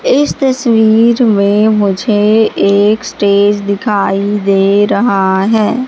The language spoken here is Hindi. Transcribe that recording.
इस तस्वीर में मुझे एक स्टेज दिखाई दे रहा है।